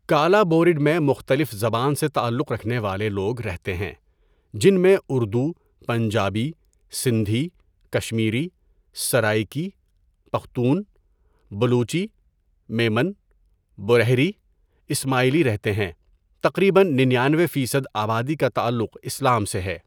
کالا بورٖڈ میں مختلف زبان سے تعلق رکھنے والے لوگ رہتے ہے جن میں اردو، پنجابی ،سندھی، کشمیری، سرائکی، پختون، بلوچی، میمن، بورہری، اسماعیلی رہتے ہے تقریبا ننانوے فیصد آبادی کا تعلق اسلام سے ہے.